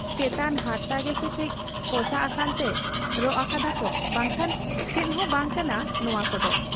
ᱪᱮᱛᱟᱱ ᱦᱟᱨᱛᱟ ᱜᱮᱥᱮ ᱠᱟᱹᱡ ᱯᱚᱥᱟᱜ ᱟᱠᱟᱱᱛᱮ ᱨᱚᱜ ᱟᱠᱟᱫᱟ ᱠᱚ ᱵᱟᱝᱠᱷᱟᱱ ᱪᱮᱫᱦᱚᱸ ᱵᱟᱝ ᱠᱟᱱᱟ ᱱᱚᱶᱟ ᱠᱚᱫᱚ ᱾